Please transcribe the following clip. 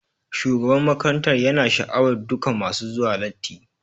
Shugaban makarantar yana sha'awar dukan masu zuwa latti.